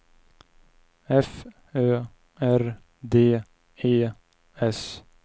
F Ö R D E S